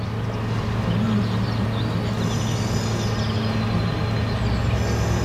Olee otú anyị pụrụ isi zụlite obi ike taa?